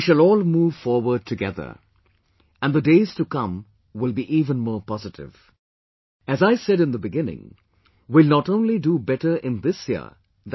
We shall all move forward together, and the days to come will be even more positive, as I said in the beginning, we will not only do better in this year i